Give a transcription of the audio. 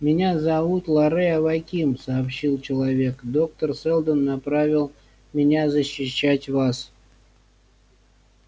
меня зовут лоре аваким сообщил человек доктор сэлдон направил меня защищать вас